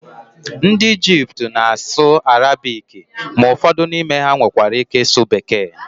ndị Ijipt na-asụ Arabiki ma ụfọdụ n'ime ha nwekwara ike ịsụ bekee